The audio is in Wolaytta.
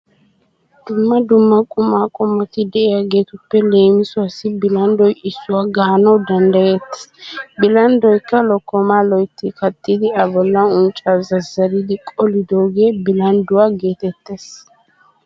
Dumma dumma qumaa qommoti de'iyageetuppe leemisuwassi bolanddoy issuwa gaanawu danddayettees. Bilanddoykka lokkomaa loytti kattidi A bollan unccaa zazzaridi qolidoogee bilandduwa geetettees.